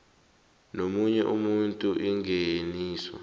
nomunye umuntu ingeniso